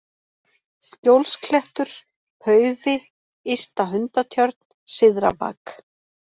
Skjólsklettur, Paufi, Ysta-Hundatjörn, Syðra-Bak